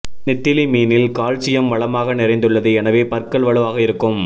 நெத்திலி மீனில் கால்சியம் வளமாக நிறைந்துள்ளது எனவே பற்கள் வலுவாக இருக்கும்